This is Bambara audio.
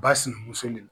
Ba sinamuso le ma